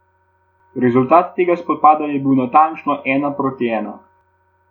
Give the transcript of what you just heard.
Rezultat tega spopada je bil natančno ena proti ena.